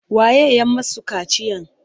Waye ya masu kaciyan?